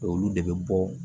Olu de bɛ bɔ